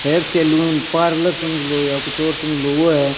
Hair salon parlour समझ लो या कुछ और समझ लो वो है।